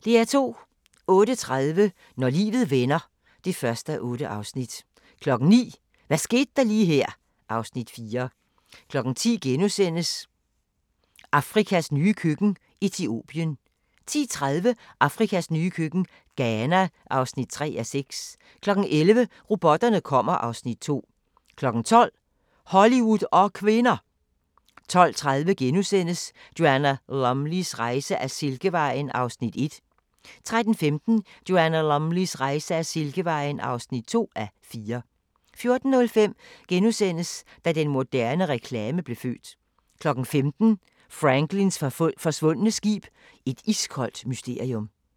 08:30: Når livet vender (1:8) 09:00: Hvad skete der lige her (Afs. 4) 10:00: Afrikas nye køkken – Etiopien (2:6)* 10:30: Afrikas nye køkken – Ghana (3:6) 11:00: Robotterne kommer (Afs. 2) 12:00: Hollywood og kvinder! 12:30: Joanna Lumleys rejse ad Silkevejen (1:4)* 13:15: Joanna Lumleys rejse ad Silkevejen (2:4) 14:05: Da den moderne reklame blev født * 15:00: Franklins forsvundne skib – et iskoldt mysterium